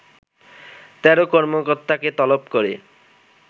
১৩ কর্মকর্তাকে তলব করে